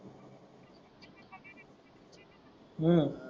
हम्म